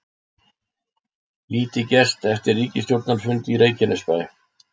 Lítið gerst eftir ríkisstjórnarfund í Reykjanesbæ